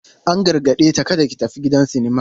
An gargade ta "kada ki tafi gidan sinima!"